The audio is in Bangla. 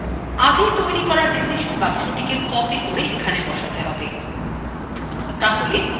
আগে তৈরী করা ডিসিশন boxটিকে copy করে এখানে বসাতে হবে